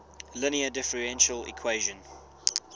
linear differential equation